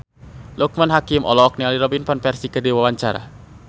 Loekman Hakim olohok ningali Robin Van Persie keur diwawancara